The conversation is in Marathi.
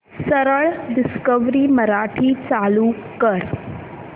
सरळ डिस्कवरी मराठी चालू कर